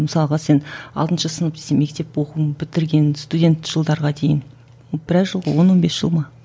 мысалға сен алтыншы сынып сен мектеп оқуын бітірген студент жылдарға дейін біраз жыл он он бес жыл ма